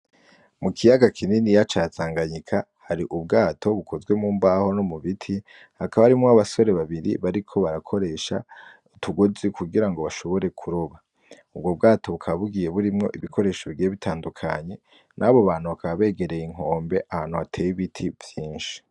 Mu kiyaga kininiya ca Tanganyika hari ubwato bukozwe mu mbaho no mu biti, hakaba harimwo abasore babiri bariko barakoresha utugozi kugira ngo bashobore kuroba. Ubwo bwato bukaba bugiye burimwo ibikoresho bigiye bitandukanye, n'abo bantu bakaba begereye inkombe ahantu hateye ibiti vyinshi.